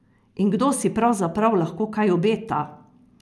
In kdo si pravzaprav lahko kaj obeta?